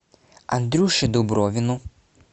андрюше дубровину